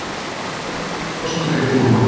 Gagnrýna kosningar í Búrma